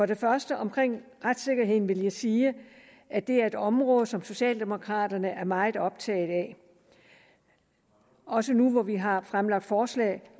det første omkring retssikkerheden vil jeg sige at det er et område som socialdemokraterne er meget optaget af også nu hvor vi har fremlagt forslag